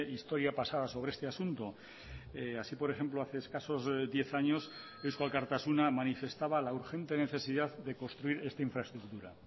historia pasada sobre este asunto así por ejemplo hace escasos diez años eusko alkartasuna manifestaba la urgente necesidad de construir esta infraestructura